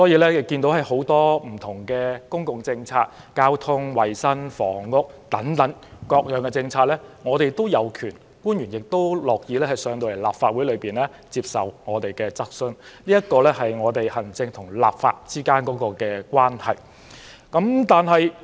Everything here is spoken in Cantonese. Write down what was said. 所以，就着很多不同的公共政策，包括交通、衞生和房屋等政策，我們均有權提出質詢，而官員亦樂意前來立法會接受質詢，這是行政與立法之間的關係。